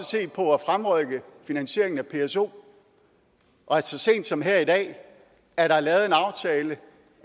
se på at fremrykke finansieringen af pso og så sent som her i dag er der lavet en aftale